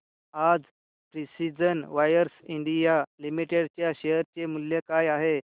आज precision wires India limited च्या share चे मूल्य काय आहे